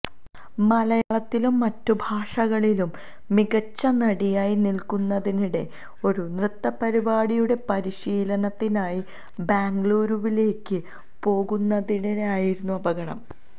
മലയാളത്തിലും മറ്റു ഭാഷകളിലും മികച്ച നടിയായി നില്ക്കുന്നതിനിടെ ഒരു നൃത്ത പരിപാടിയുടെ പരിശീലനത്തിനായി ബാംഗ്ലളൂരുവിലേക്ക് പോകുന്നതിനിടെയായിരുന്നു അപകടം